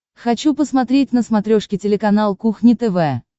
хочу посмотреть на смотрешке телеканал кухня тв